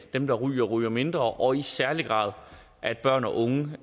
dem der ryger ryger mindre og i særlig grad at børn og unge